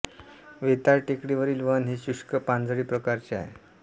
वेताळ टेकडीवरील वन हे शुष्क पानझडी प्रकारचे आहे